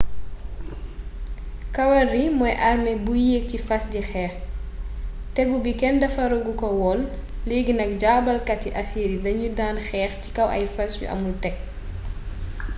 kawalry mooy arme buy yéeg ci fas di xeex tegu bi kenn defaragu kowoon leegi nak jaabalkati assyrie dañu dan xeex ci kaw ay fass yu amoul teg